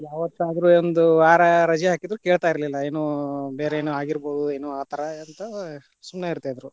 ಯಾವತ್ತಾದ್ರು ಒಂದು ವಾರ ರಜೆ ಹಾಕಿದ್ರು ಕೇಳ್ತಾ ಇರಲಿಲ್ಲಾ, ಏನೋ ಬೇರೆ ಏನೋ ಆಗಿರಬಹುದು ಏನೊ ಆತರ ಅಂತ ಸುಮ್ನೆ ಇರ್ತಿದ್ರು.